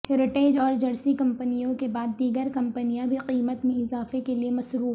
heritage اور Jersey کمپنیوں کے بعد دیگر کمپنیاں بھی قیمت میں اضافہ کے لیے مصروف